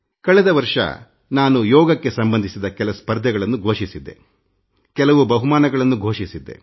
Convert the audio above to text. ಕಳೆದ ವರ್ಷ ನಾನು ಯೋಗಕ್ಕೆ ಸಂಬಂಧಿಸಿದ ಕೆಲ ಸ್ಪರ್ಧೆಗಳನ್ನು ಮತ್ತುಕೆಲವು ಪ್ರಶಸ್ತಿಗಳನ್ನು ಘೋಷಿಸಿದ್ದೆ